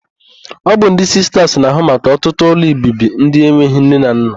Ọ bụ ndị Sistas na-ahụ maka ọtụtụ ụlọobibi ndị enweghị nne na nna.